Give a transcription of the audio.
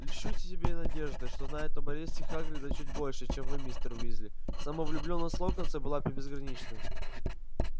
льщу себя надеждой что знаю об аресте хагрида чуть больше чем вы мистер уизли самовлюблённость локонса была безгранична